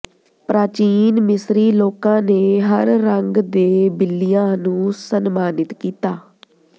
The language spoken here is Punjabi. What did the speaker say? ਪ੍ਰਾਚੀਨ ਮਿਸਰੀ ਲੋਕਾਂ ਨੇ ਹਰ ਰੰਗ ਦੇ ਬਿੱਲੀਆਂ ਨੂੰ ਸਨਮਾਨਿਤ ਕੀਤਾ